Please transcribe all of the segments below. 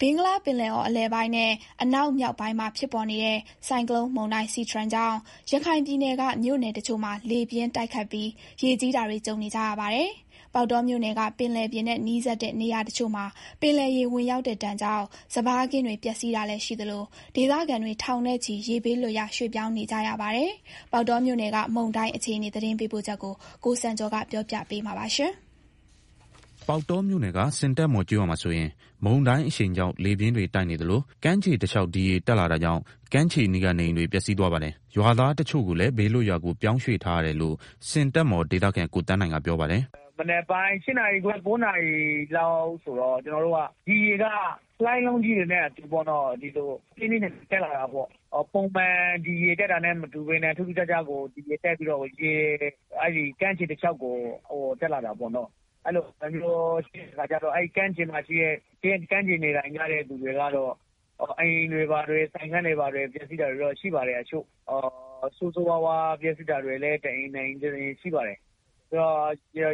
ဘင်္ဂလားပင်လယ်အော်အလယ်ပိုင်းနဲ့ အနောက်မြောက်ပိုင်းမှာဖြစ်ပေါ်နေတဲ့ ဆိုင်ကလုန်းမုန်တိုင်း SITRANG ကြောင့် ရခိုင်ပြည်နယ်က မြို့နယ်တချို့မှာ လေပြင်းတိုက်ခတ်ပြီး ရေကြီးနေပါတယ်။ ပေါက်တောမြို့နယ်က ပင်လယ်ပြင်နဲ့ နီးစပ်တဲ့နေရာတချို့မှာ ပင်လယ်ရေဝင်ပြီး စပါးခင်းတွေ ပျက်စီးတာရှိသလို ဒေသခံတွေထောင်နဲ့ချီ ရေဘေးလွတ်ရာ ရွှေ့ပြောင်းနေရပါတယ်။ ပေါက်တောမြို့နယ်က မုန်တိုင်းအခြေအနေ သတင်းပေးပို့ချက်ကို ကိုစံကျော်က တင်ပြပေးထားပါတယ်။ ပေါက်တောမြို့နယ်က ဆင်တက်မော် ကျေးရွာမှာဆိုရင် မုန်တိုင်းအရှိန်ကြောင့် လေပြင်းတွေတိုက်နေသလို ကမ်းခြေတလျှောက် ဒီရေတက်လာတာကြောင့် ကမ်းခြေနားကနေအိမ်တွေ ပျက်စီးသွားပါတယ်။ ရွာသားတချို့ကိုလည်း ဘေးလွတ်ရာကိုပြောင်းရွှေ့ထားရတယ်လို့ ဆင်တက်မော်ဒေသခံ ကိုသန်းနိုင်ကပြောပါတယ်။ “မနက်ပိုင်း ၈ နာရီခွဲ ၉ နာရီလောက်မှာ ဒီရေက လှိုင်းလုံးကြီးတွေနဲ့အတူ ပြင်းပြင်းထန်ထန် တက်လာတယ်။ ပုံမှန်ဒီရေတက်တာနဲ့မတူဘဲ ထူးထူးခြားခြားဒီရေတက်ပြီးတော့ ကမ်းခြေတလျှောက်ကို ရေတွေတက်ပြီးတော့ ကမ်းခြေမှာ နေထိုင်သူတွေရဲ့အိမ်တွေ၊ ဆိုင်ခန်းတွေ ဘာတွေ ပျက်စီးတာရှိတယ်။ ဆိုးဆိုးရွားရွားပျက်စီးတာလည်း တအိမ်နှစ်အိမ်ရှိပါတယ်။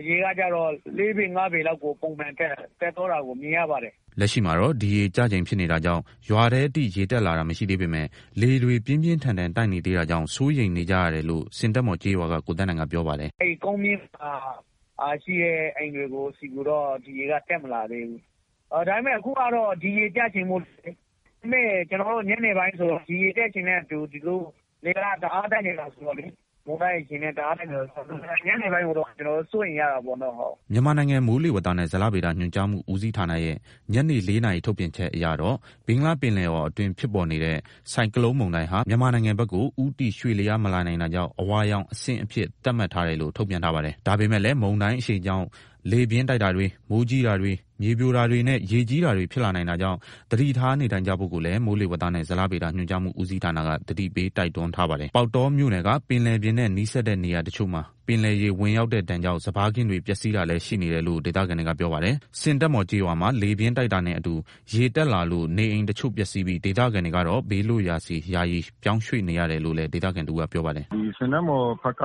ရေကတော့ ၄ ပေ၊ ၅ ပေလောက်ကို ပုံမှန်တက် သွားတာကို မြင်ရပါတယ်။” လက်ရှိမှာတော့ ဒီရေကျချိန်ဖြစ်နေတာကြောင့် ရွာထဲအထိ ရေတက်လာတာမရှိသေးပေမယ့် လေတွေ ပြင်းပြင်းထန်ထန်တိုက်နေသေးတာကြောင့် စိုးရိမ်နေကြရတယ်လို့လည်း ဆင်တက်မော်ကျေးရွာက ကိုသန်းနိုင် ကပြောပါတယ်။ “ကုန်းမြင့်မှာရှိတဲ့ အိမ်တွေကိုတော့ ရေက တက်မလာသေးဘူး။ ဒါပေမယ့် အခုက ဒီရေကျချိန်နဲ့ဆိုတော့ ညနေဘက် ဒီရေတက်ချိန်ဆိုရင် လေကလည်း မတရားတိုက်နေတော့ ညနေအတွက်တော့ ကျနော်တို့ စိုးရိမ်ရတာပေါ့နော်။” မြန်မာနိုင်ငံ မိုးလေဝသနဲ့ ဇလဗေဒညွှန်ကြားမှုဦးစီးဌာနဲ့ရဲ့ ညနေ ၄ နာရီထုတ်ပြန်ချက်အရတော့ ဘင်္ဂလားပင်လယ်အော်အတွင်း ဖြစ်ပေါ်နေတဲ့ ဆိုင်ကလုန်းမုန်တိုင်းဟာ မြန်မာနိုင်ငံဘက်သို့ ဦးတည် ရွေ့လျားမလာနိုင်တာကြောင့် အဝါရောင်အဆင့် သတ်မှတ်ထားတယ်လို့ ထုတ်ပြန်ထားပါတယ်။ ဒါပေမယ့်လည်းမုန်တိုင်းအရှိန်ကြောင့် လေပြင်းတိုက်တာတွေ မိုးကြီးတာတွေ မြေပြိုတာတွေနဲ့ ရေကြီးတာတွေဖြစ်လာနိုင်တာကြောင့် သတိထားနေထိုင်ကြဖို့လည်း မိုးလေဝသနဲ့ ဇလဗေဒညွန်ကြားမှုဦးစီးဌာနက သတိပေးတိုက်တွန်းထားပါတယ်။ ပေါက်တောမြို့နယ်က ပင်လယ်ပြင်နဲ့ နီးစပ်တဲ့နေရာတချို့မှာပင်လယ်ရေဝင်ပြီး စပါးခင်းတွေ ပျက်စီးတာလည်း ရှိနေတယ်လို့ ဒေသခံတွေက ပြောပါတယ်။ ဆင်တက်မော်ကျေးရွာမှာ လေပြင်းတိုက်တာနဲ့အတူ ရေတက်လာလို့ နေအိမ်တချို့ပျက်စီးပြီး ဒေသခံတွေကတော့ ဘေးလွတ်ရာဆီ ယာယီပြောင်းရွှေ့နေတယ်လို့လည်း ဒေသခံတဦးက ပြောပါတယ်။ "ဆင်တက်မော်ဘက်က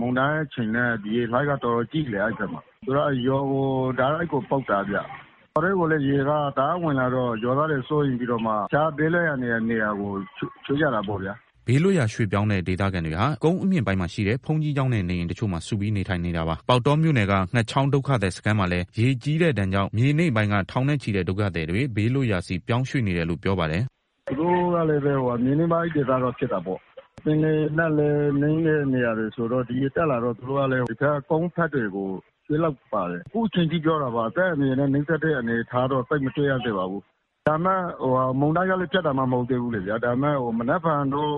မုန်တိုင်းအရှိန်နဲ့ ရေလှိုင်းက အဲဒီဘက်မှာ တော်တော်ကြီးတယ်။ ရွာကို တိုက်ရိုက် ကို ပုတ်တာဗျ။ ရွာထဲကိုလည်း ရေကတအားဝင်လာတော့ ရွာသားတွေ စိုးရိမ်ပြီးတော့ တခြားဘေးလွတ်ရာ နေရာကို ရွှေ့ကြတာပေါ့ဗျာ။" ဘေးလွတ်ရာရွှေ့ပြောင်းတဲ့ဒေသခံတွေဟာ ကုန်းအမြင့်ပိုင်းမှာရှိတဲ့ ဘုန်းကြီးကျောင်းနဲ့ နေအိမ်တချို့မှာ စုပြီး နေထိုင်နေတာပါ။ ပေါက်တောမြို့နယ်က ငှက်ချောင်းဒုက္ခသည်စခန်းမှာလည်း ရေကြီးတဲ့ဒဏ်ကြောင့် မြေနိမ့်ပိုင်းက ထောင်နဲ့ချီတဲ့ဒုက္ခသည်တွေ ဘေးလွတ်ရာဆီ ပြောင်းရွှေ့နေတယ်လို့ ပြောပါတယ်။ "သူတို့ကလည်းပဲ မြေနိမ့်ပိုင်းဒေသတော့ ဖြစ်တာပေါ့။ ပင်လယ်နဲ့လည်း နီးတဲ့နေရာတွေဆိုတော့ ရေတက် လာတော့ ကုန်းဘက်တွေကို ရွှေ့လိုက်ပါတယ်။ အသက်အန္တရာယ်နဲ့နီးစပ်တဲ့ အနေအထားကတော့ အခုချိန်ထိ သိပ်မတွေ့ရသေးပါဘူး။ ဒါပေမယ့် မုန်တိုင်းကလည်း ပြတ်တာ မဟုတ်သေးဘူးလေဗျာ။ မနက်ဖြန်တော့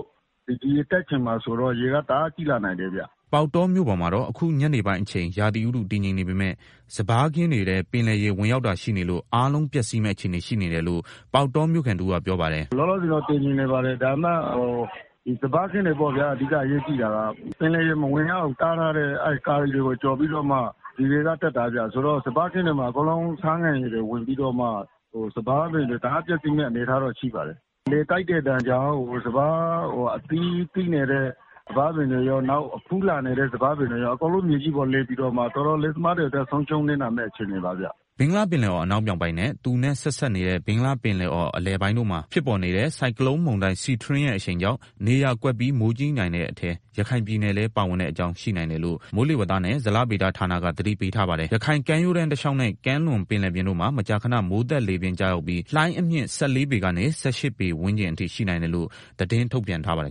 ရေတက်ချိန်မှာတော့ ရေကတအား ကြီးလာနိုင်တယ်ဗျ။" ပေါက်တောမြို့ပေါ်မှာတော့ အခုညနေပိုင်းအချိန် ရာသီဥတုတည်ငြိမ်နေပေမယ့် စပါးခင်းတွေထဲ ပင်လယ်ရေ ဝင်ရောက်တာရှိနေလို့ အားလုံးပျက်စီးမယ့်အခြေအနေရှိနေတယ်လို့ ပေါက်တောမြို့ခံတဦးက ပြောပါတယ်။ "လောလောဆယ်တော့ တည်ငြိမ်နေပါတယ်။ ဒါပေမယ့် အဓိက အရေးကြီးတာကတော့ စပါးခင်းတွေပေါ့ဗျာ။ ပင်လယ်ရေ မဝင်ရောက်အောင် တားထားတဲ့အကာတွေကို ကျော်ပြီးတော့မှ ရေကတက်တာဗျ။ စပါးခင်းတွေမှာ အကုန်လုံး ဆားငံရေတွေဝင်ပြီးတော့မှ စပါးပင်တွေ တအားပျက်စီးမယ့် အနေအထားတော့ ရှိပါတယ်။ လေတိုက်တဲ့ဒဏ်ကြောင့် စပါးအသီး သီးနေတဲ့ စပါးပင်တွေရော၊ ဖူးလာနေတဲ့ စပါးပင်တွေရော အကုန်လုံး မြေကြီးပေါ်လဲပြီးတော့မှ တောင်သူလယ်သမားတွေအတွက် ဆုံးရှုံးနစ်နာမယ့် အခြေအနေပါဗျ။" ဘင်္ဂလားပင်လယ်အော် အနောက်မြောက်ပိုင်းနဲ့ သူနဲ့ဆက်စပ်နေတဲ့ ဘင်္ဂလားပင်လယ်အော် အလယ်ပိုင်းတို့မှာ ဖြစ်ပေါ်နေတဲ့ ဆိုင်ကလုန်းမုန်တိုင်း SITRANG ရဲ့ အရှိန်ကြောင့် နေရာကွက်ပြီး မိုးကြီးနိုင်တဲ့အထဲ ရခိုင်ပြည်နယ်လည်းပါဝင်နိုင်တယ်လို့ မိုးလေဝသနဲ့ ဇလဗေဒဌာနက သတိပေးထားပါတယ်။ ရခိုင်ကမ်းရိုးတန်း တလျှောက်နဲ့ ကမ်းလွန်ပင်လယ်ပြင်တို့မှာ မကြာခဏ မိုးသက်လေပြင်းကျရောက်ပြီး လှိုင်းအမြင့် ၁၄ ပေ ကနေ ၁၈ ပေ ဝန်းကျင်အထိ ရှိနိုင်တယ်လို့ သတင်း ထုတ်ပြန်ထားပါတယ်